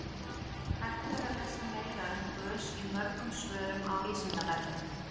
hægt er að lesa meira um gös í mörgum svörum á vísindavefnum